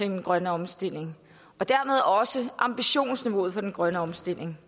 den grønne omstilling og dermed også ambitionsniveauet for den grønne omstilling